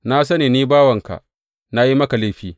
Na sani ni bawanka na yi maka laifi.